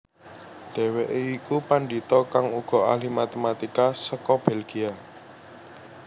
Dhèwèké iku pandhita kang uga ahli matematika seka Belgia